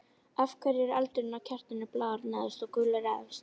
Af hverju er eldurinn á kertinu blár neðst og gulur efst?